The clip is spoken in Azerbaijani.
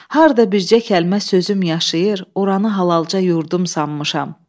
Harda bircə kəlmə sözüm yaşayır, oranı halalca yurdum sanmışam.